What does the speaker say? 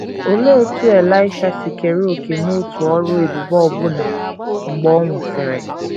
Olee otú Elaịsha si kere òkè n’otu ọrụ ebube ọbụna mgbe ọ nwụsịrị?